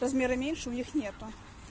размера меньше у них нету